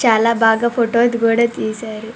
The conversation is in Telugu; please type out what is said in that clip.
చాల బాగా ఫోటో లు గూడా తీశారు--